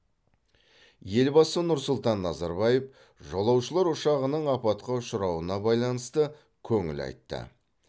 елбасы нұрсұлтан назарбаев жолаушылар ұшағының апатқа ұшырауына байланысты көңіл айтты